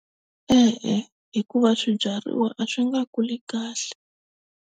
E-e hikuva swibyariwa a swi nga kuli kahle.